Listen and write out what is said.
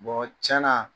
tiɲɛna